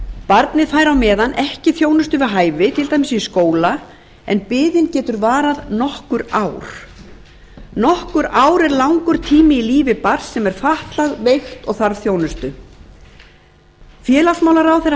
barnið fær á meðan ekki þjónustu við hæfi til dæmis í skóla en biðin getur varað nokkur ár nokkur ár er langur tími í lífi barns sem er fatlað veikt og þarf þjónustu hæstvirts